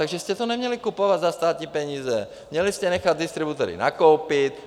Takže jste to neměli kupovat za státní peníze, měli jste nechat distributory nakoupit.